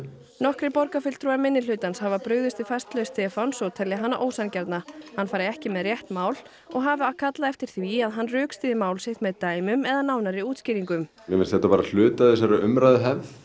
nokkrir borgarfulltrúar minnihlutans hafa brugðist við færslu Stefáns og telja hana ósanngjarna hann fari ekki með rétt mál og hafa kallað eftir því að hann rökstyðji mál sitt með dæmum eða nánari útskýringum mér finnst þetta bara hltui af þessari umræðuhefð